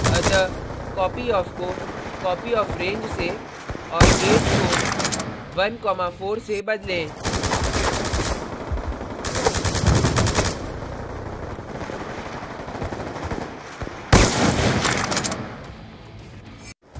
अतः copyof को copyofrange से और 8 को 14 से बदलें